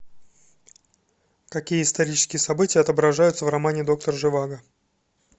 какие исторические события отображаются в романе доктор живаго